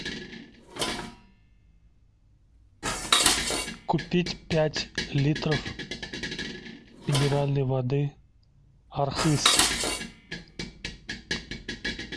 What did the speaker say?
купить пять литров минеральной воды архыз